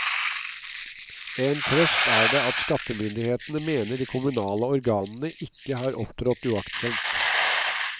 En trøst er det at skattemyndighetene mener de kommunale organene ikke har opptrådt uaktsomt.